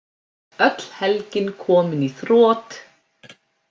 Öll helgin komin í þrot.